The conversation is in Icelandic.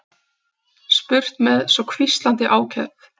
spurt með svo hvíslandi ákefð.